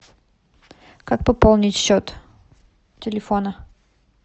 как пополнить счет телефона